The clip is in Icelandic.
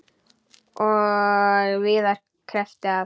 Og víðar kreppti að.